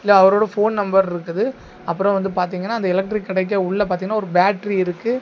இதுல அவரோட phone number இருக்குது ஆப்ரோ வந்து பாத்திங்கனா அந்த எலெக்ட்ரிக் கடைக்க உள்ள பாத்திங்கனா ஒரு பேட்டரி இருக்கு.